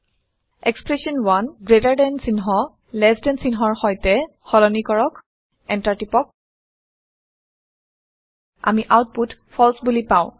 expression 1 gtচিহ্ন ltচিহ্নৰ সৈতে সলনি কৰক এণ্টাৰ টিপক আমি আওতপুত ফালছে বোলি পাওঁ